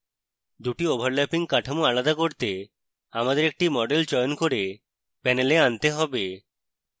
দুটি overlapping কাঠামো আলাদা করতে: আমাদের একটি model চয়ন করে panel আনতে have